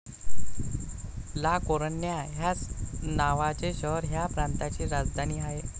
ला कोरुन्या ह्याच नावाचे शहर ह्या प्रांताची राजधानी आहे.